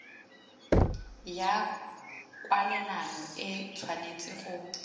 ya kwalelano e tshwanetse go